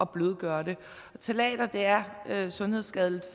blødgøre det ftalater er sundhedsskadeligt